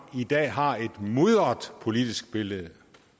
i dag har et mudret politisk billede